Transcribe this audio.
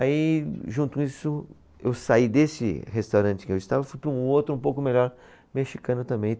Aí, junto com isso, eu saí desse restaurante que eu estava e fui para um outro, um pouco melhor, mexicano também.